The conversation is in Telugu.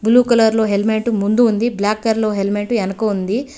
బ్లూ కలర్ లో హెల్మెట్ ముందు ఉంది బ్లాక్ కలర్ లో హెల్మెట్ ఎనక ఉంది.